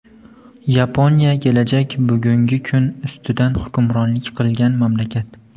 Yaponiya kelajak bugungi kun ustidan hukmronlik qilgan mamlakat.